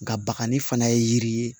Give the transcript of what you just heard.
Nka bakanni fana ye yiri ye